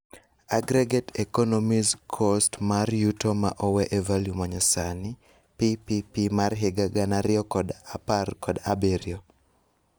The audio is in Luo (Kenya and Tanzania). Aggregate economis cost mar yuto ma owee e value manyasani (PPP mar higa gana ariyo kod apar kod abirio)